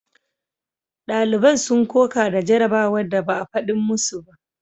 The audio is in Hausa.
Daliban sun koka da jarabawar da ba a fadin masu ba.